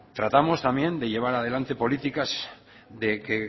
tratamos también de llevar adelante políticas